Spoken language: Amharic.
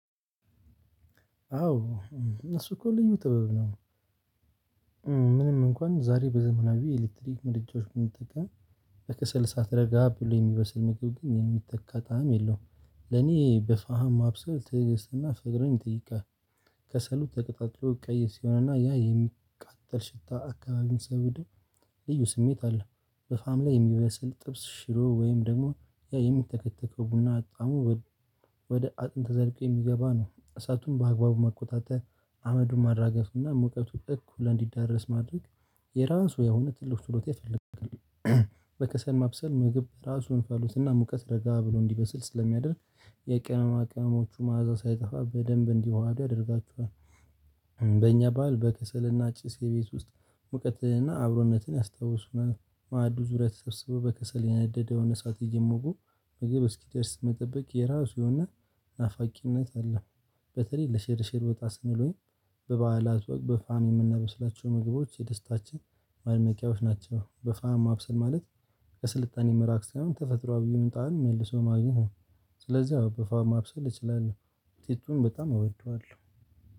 አዎ እሱ እኮ ልዩ ጥበብ ነው። ምንም እንኳን ዛሬ በዘመናዊ የኤለክትሪክ ምድጃዎች ብንጠቀም፣ በከሰል እሳት ረጋ ብሎ የሚበስል ምግብ ግን የሚተካ ጣዕም የለውም። ለኔ በፋሃም ማብሰል ትዕግስትና ፍቅርን ይጠይቃል። ከሰሉ ተቀጣጥሎ ቀይ ሲሆንና ያ የሚቃጠል ሽታ አካባቢውን ሲያውደው ልዩ ስሜት አለ። በፋም ላይ የሚበስል ጥብስ ሽሮ ወይም ደግሞ ያ የሚተከተከው ቡና ጣዕሙ ወደ አጥንት ዘልቆ የሚገባ ነው። እሳቱን በአግባቡ መቆጣጠር አመዱን ማራገፍና ሙቀቱን እኩል እንዲዳረስ ማድረግ የራሱ የሆነ ትልቅ ችሎታ ይፈልጋል። በከሰል ማብሰል ምግብ ራሱን እንፋሎትና ሙቀት ረጋ ብሎ እንዲበስል ስለሚያደርግ የቅመማ ቅመሞቹ መዓዛ ሳይጠፋ በደንብ እንዲዋሃድ ያደርጋችኋል። በእኛ ባህል በከሰልና ጭስ የቤት ውስጥ ሙቀትና አብሮነትን ያስታውሱናል። ማዕዱ ዙሪያ ተሰብስቦ በከሰል የነደደውን እሳት እየሞቁ ምግብ እስኪደርስ መጠበቅ የራሱ የሆነ ናፋቂነት አለው። በተለይ ለሽርሽር ወጣ ስንል ወይም በበዓላት ወቅት በፋም የምናበስላቸው ምግቦች የደስታችን ማድመቂያዎች ናቸው። በፋም ማብሰል ማለት ከስልጣኔ መራቅ ሳይሆን ተፈጥሯዊ የሆነ ጣዕም መልሶ ማግኘት ነው። ስለዚህ ማብሰል እችላለሁ ውጤቱን በጣም እወደዋለሁ።